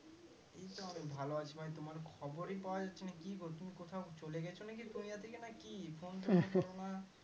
এইতো আমি ভালো আছি ভাই তোমার খবরই পাওয়া যাচ্ছেনা কি গো তুমি কোথাও চলে গেছো নাকি দুনিয়া থেকে নাকি phone টোন করোনা।